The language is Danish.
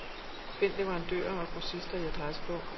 Find leverandører og grossister i adressebog.